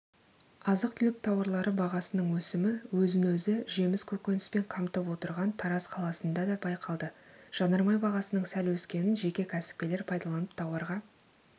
азық-түлік тауарлары бағасының өсімі өзін-өзі жеміс көкөніспен қамтып отырған тараз қаласында да байқалды жанармай бағасының сәл өскенін жеке кәсіпкерлер пайдаланып тауарға